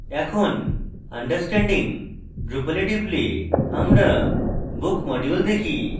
এখন understanding drupal we টিপলে আমরা book module দেখি